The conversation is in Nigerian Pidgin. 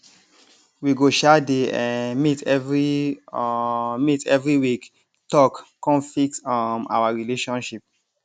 we go um dey um meet every um meet every week talk con fix um our relationship